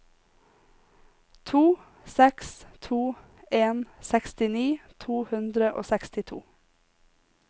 to seks to en sekstini to hundre og sekstito